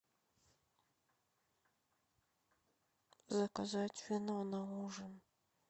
заказать вино на ужин